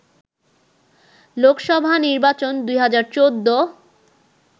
লোকসভা নির্বাচন ২০১৪